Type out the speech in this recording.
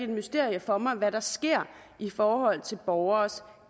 mysterium for mig hvad der sker i forhold til borgernes